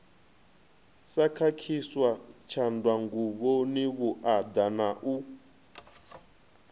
sa khakhiswa tshanḓanguvhoni vhuaḓa na